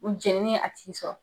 u jeneni ye a tigi sɔrɔ.